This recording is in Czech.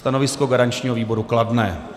Stanovisko garančního výboru kladné.